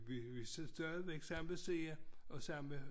Vi vi stadigvæk samme side og samme